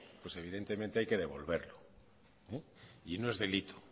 evidentemente hay que devolverlo y no es delito